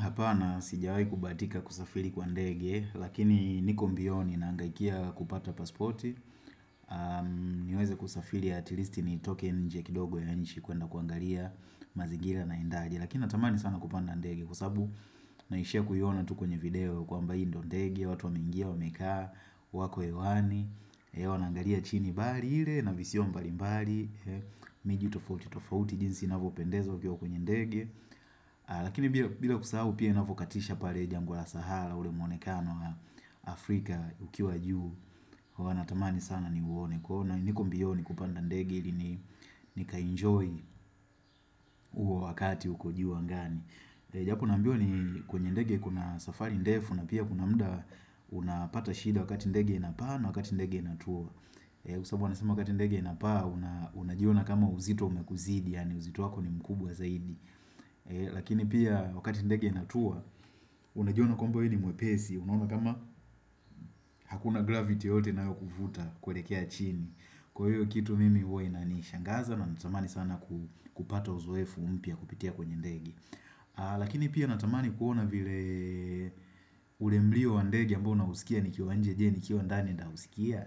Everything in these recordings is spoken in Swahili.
Hapana sijawai kubahatika kusafiri kwa ndege, lakini niko mbioni naangaikia kupata pasporti niweze kusafiri at least nitoke nje kidogo ya nchi kuenda kuangalia mazingira naendaje Lakini natamani sana kupanda ndege kwa sababu naishia kuona tu kwenye video kwamba hii ndo ndege watu wameingia, wamekaa, wako hewani, wanangalia chini bahari ile na visio mbali mbali miji tofauti tofauti jinsi inavyo pendeza ukiwa kwenye ndege, lakini bila kusahau pia inavyokatisha pale jangwa la sahara ule mwonekano Afrika ukiwa juu. Huwa natamani sana ni uone kwa hiyo niko mbioni kupanda ndege. Nikaenjoy huo wakati huko juu angani. Japo naambiwa ni kwenye ndege kuna safari ndefu na pia kuna muda Unapata shida wakati ndege inapaa na wakati ndege inatua sababu wanasema wakati ndege inapaa unajiona kama uzito umekuzidi yaani uzito wako ni mkubwa zaidi Lakini pia wakati ndege inatua unajiona kwamba wewe ni mwepesi unajiona kama hakuna gravity yoyote inayo kuvuta kwelekea chini kwa hiyo kitu mimi huwa inanishangaza na natamani sana kupata uzoefu mpya kupitia kwenye ndege. Lakini pia natamani kuona vile ule mlio wa ndege ambao nausikia Nikiwa nje, je, nikiwa ndani nitausikia?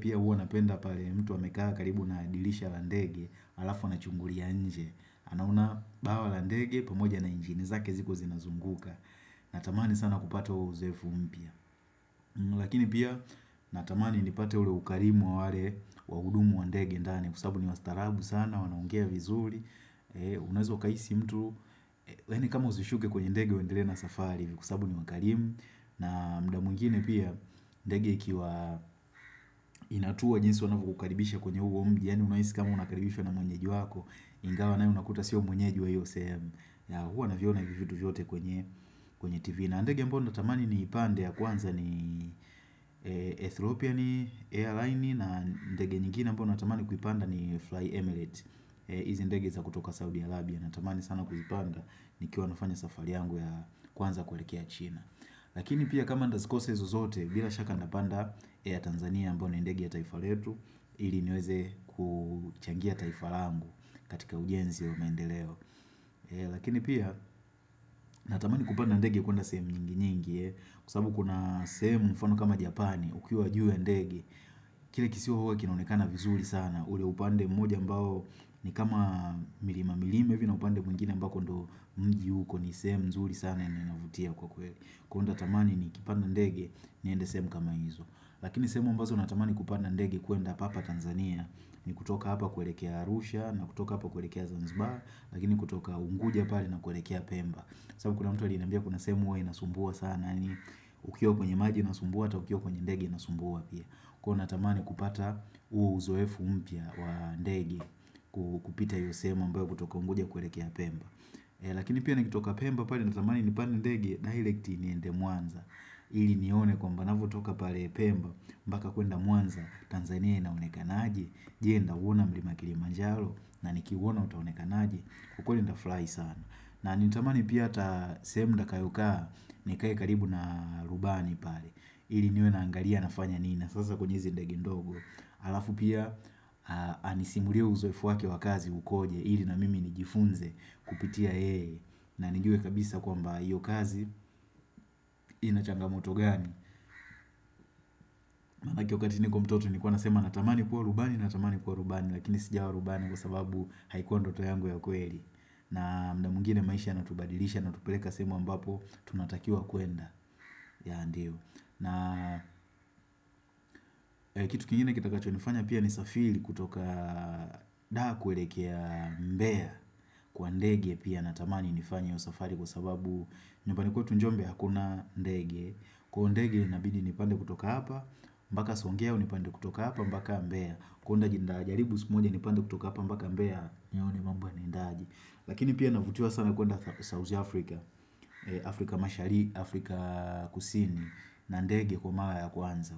Pia huwa napenda pale mtu amekaa karibu na dirisha la ndege alafu anachungulia nje anaona bawa la ndege pamoja na injini zake ziko zinazunguka. Natamani sana kupata wa uzoefu mpya. Lakini pia natamani nipata ule ukarimu wa wale wahudumu wa ndege ndani Kwa sababu ni wastaarabu sana wanaongea vizuri. Unaweza ukahisi mtu yaani kama usishuke kwenye ndege uendelee na safari kwa sababu ni wakarimu na muda mwingine pia ndege ikiwa inatua jinsi wanavyo kukaribisha kwenye huo mji yaani unahisi kama unakaribisha na mwenyeji wako Ingawa nawe unakuta sio mwenyeji wa iyo sehemu huwa naviona hivi vitu vyote kwenye kwenye tv na ndege ambaya natamani ni ipande ya kwanza ni Ethiopian Air Line na ndege nyingine ambayo natamani kuipanda ni Fly Emirates hizi ndege za kutoka Saudi Arabia natamani sana kuzipanda ni kiwa nafanya safari yangu ya kwanza kuelekea china Lakini pia kama nitazikosa hizo zote bila shaka nitapanda ya Air Tanzania ambayo ni ndege ya taifa letu ili niweze kuchangia taifa langu katika ujienzi wa maendeleo. Lakini pia natamani kupanda ndege ya kwenda sehemu nyingi nyingi kwa sababu kuna sehemu mfano kama Japani ukiwa juu ya ndege. Kile kisiwa huwa kinaonekana vizuri sana ule upande mmoja ambao ni kama milima milima hivi na upande mwingine ambako ndio mji uko ni sehemu nzuri sana yenye inavutia kwa kweli kwa hiyo nitatamani ni kupanda ndege niende sehemu kama hizo lakini sehemu ambazo natamani kupanda ndegr kuenda papa Tanzania ni kutoka hapa kuwelekea Arusha na kutoka hapa kuwelekea Zanzibar lakini kutoka Unguja pale na kuelekea Pemba sababu kuna mtu alinambia kuna sehemu huwa inasumbua sana ni ukiwa kwenye maji inasumbua ata ukiwa kwenye ndege inasumbua pia kwa natamani kupata huo uzoefu mpya wa ndege kupita hiyo sehemu ambayo kutoka Unguja kuelekea Pemba Lakini pia nakitoka Pemba pale na tamani nipande ndege direkti niende Mwanza ili nione kwamba ninavyo toka pale Pemba mpaka kuenda Mwanza, Tanzania inaonekana aje Je, nitauona mlima Kilimanjaro? Na nikiuona utaoneka aje? Ukweli nitafurahi sana na nilitamani pia hata sehemu nitakayo kaa nikae karibu na rubani pale ili niwe naangalia anafanya nini na sasa kwenye hizi ndege ndogo Alafu pia anisimulie uzoefu wake wa kazi ukoje ili na mimi nijifunze kupitia yeye na nijue kabisa kwamba iyo kazi ina changamoto gani Manake wakati niko mtoto Nilikuwa nasema natamani kuwa rubani natamani kuwa rubani lakini sijawa rubani kwa sababu haikuwa ndoto yangu ya kweli. Na muda mwingine maisha yana tubadilisha na kutupeleka sehemu ambapo tunatakiwa kwenda yeah ndio na Kitu kingine kitakacho nifanya pia ni safiri kutoka Daa kuwelekea Mbeya Kwa ndege pia na tamani nifanya hiyo safari kwa sababu nyumbani kwetu Njombe hakuna ndege Kwa hiyo ndege nabidi nipande kutoka hapa mpaka swangeo nipande kutoka hapa mpaka Mbea kwa hiyo nitaji karibu siku moja nipande kutoka hapa mpaka Mbea. Iyo ni mambo yanaendaje Lakini pia navutiva sana kuenda South Africa. Afrika mashari, Afrika kusini na ndege kwa mara ya kwanza.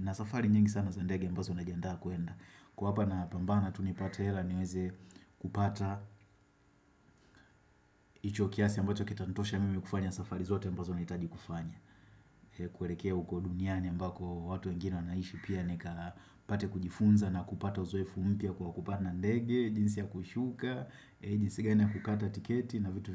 Na safari nyingi sana za ndege ambazo na jiandaa kwenda. Niko apa napambana tu nipata hela niweze kupata hicho kiasi ambacho kitantosha mimi kufanya safari zote ambazo nahitaji kufanya. Kuwelekea uko duniani ambako watu wengini wanaishi pia nikapate kujifunza na kupata uzoefu mpya kwa kupanda ndege, jinsi ya kushuka, jinsi gani ya kukata tiketi na vitu vingi.